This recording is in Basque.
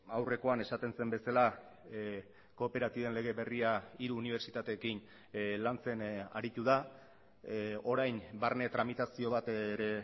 aurrekoan esaten zen bezala kooperatiben lege berria hiru unibertsitateekin lantzen aritu da orain barne tramitazio bat ere